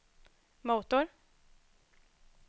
motor